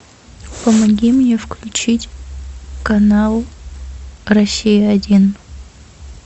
помоги мне включить канал россия один